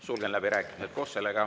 Sulgen läbirääkimised.